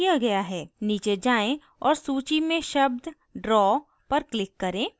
नीचे जाएँ और सूची में शब्द draw पर click करें